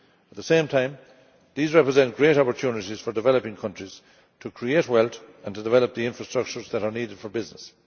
At the same time, these represent great opportunities for developing countries to create wealth and develop the infrastructures that are needed for business.